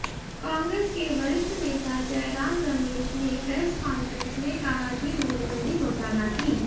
कांग्रेस के वरिष्ठ नेता जयराम रमेश ने प्रेस कांफ्रेंस में कहा कि नोटबंदी घोटाला थी